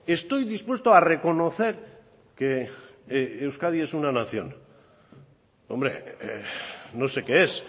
estoy dispuesto a reconocer que euskadi es una nación hombre no sé qué es